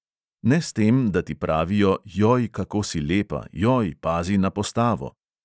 Ne s tem, da ti pravijo, joj, kako si lepa, joj, pazi na postavo ...